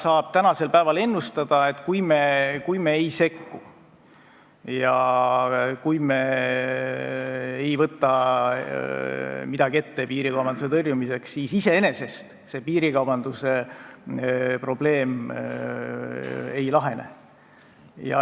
Aga tänasel päeval saab ennustada, et kui me ei sekku ega võta midagi ette piirikaubanduse tõrjumiseks, siis iseenesest see probleem ei lahene.